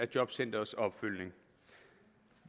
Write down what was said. jobcentrenes opfølgning